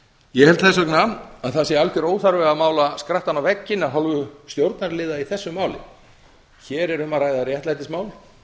ég held því að það sé alveg óþarfi að mála skrattann á vegginn af hálfu stjórnarliða í þessu máli hér er um að ræða réttlætismál